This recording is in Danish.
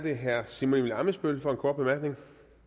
det herre simon emil ammitzbøll for en kort bemærkning